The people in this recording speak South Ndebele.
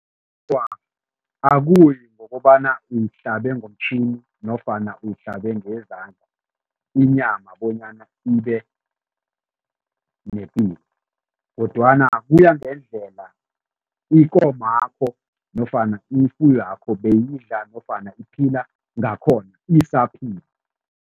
Akuyi ngokobana uyihlabe ngomtjhini nofana uyihlube ngezandla inyama bonyana ibenepilo kodwana kuya ngendlela ikomakho nofana ifuywakho beyidla nofana iphila ngakhona isaphila.